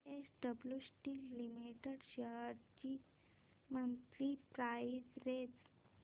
JSW steel limited shares ची monthly price range